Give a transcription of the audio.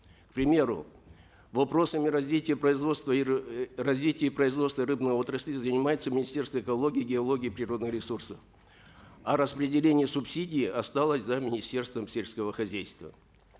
к примеру вопросами развития производства и развития и производства рыбной отрасли занимается министерство экологии геологии природных ресурсов а распределение субсидий осталось за министерством сельского хозяйства